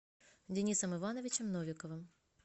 денисом ивановичем новиковым